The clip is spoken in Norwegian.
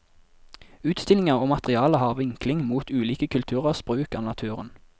Utstillinger og materiale har vinkling mot ulike kulturers bruk av naturen.